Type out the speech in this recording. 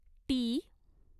T